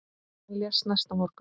Hann lést næsta morgun.